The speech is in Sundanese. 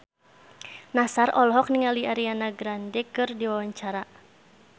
Nassar olohok ningali Ariana Grande keur diwawancara